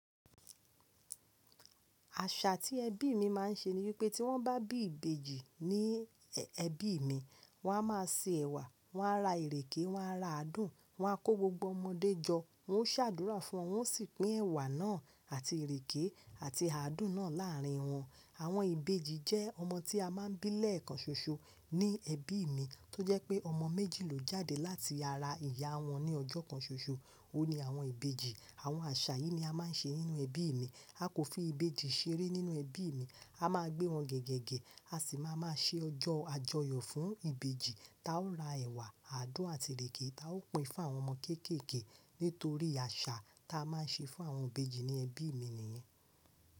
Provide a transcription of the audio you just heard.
Àṣà tí ẹbí mi máa ń ṣe ni wípé tí wọ́n bá bí ìbejì ní ẹbí mi, wọn a máa se ẹ̀wà, wọn a ra ìrèké, wọn a ra adún, wọn a kó gbogbo ọmọdé jọ, wọn ó ṣàdúrà fún wọn, wọ́n o sì pín ẹ̀wà náà àti ìrèké àti adún náà láàrin wọn. Àwọn ìbejì jẹ́ ọmọ tí a máa ń bí lẹ́ẹ̀kan ṣoṣo ní ẹbí mi tó jẹ́ pé ọmọ méjì ló jáde láti ara ìyá wọn ní ọjọ́ kan ṣoṣo, òun ni àwọn ìbejì. Àwọn àṣà yìí ni a máa ń ṣe nínú ẹbí mi. A kò fi Ìbejì ṣeré nínú ẹbí mi. A máa gbé wọn gẹ̀gẹ̀gẹ́, a sì máa má ṣe ọjọ́ àjọyọ̀ fún ìbejì, táa ó ra ẹ̀wà, adún àti ìrèké, táa ó pín fún àwọn ọmọ kéékèèké nítorí àṣà ta máa ń ṣe fún àwọn ìbejì ní ẹbí mi nìyẹn.